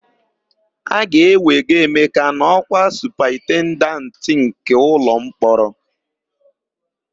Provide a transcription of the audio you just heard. A ga-ewego Emeka n'ọ́kwa Supaintendenti nke ụlọmkpọrọ.